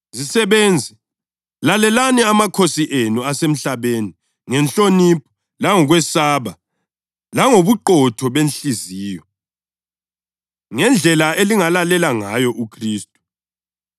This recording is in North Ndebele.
Zisebenzi, lalelani amakhosi enu asemhlabeni ngenhlonipho langokwesaba, langobuqotho benhliziyo, ngendlela elingalalela ngayo uKhristu.